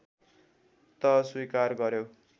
त स्वीकार गर्‍यो